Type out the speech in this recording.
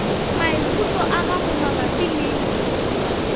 maikutlo a gago mabapi le